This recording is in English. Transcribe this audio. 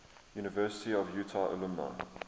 university of utah alumni